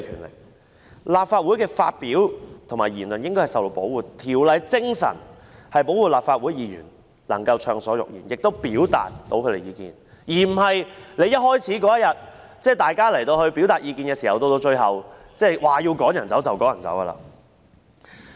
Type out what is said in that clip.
在立法會發表言論應該受到保護，《條例》的精神是保護立法會議員能夠暢所欲言，亦可以表達意見，而不是像那天一開始般，在大家表達意見時，主席說要把議員趕離場，便立即做。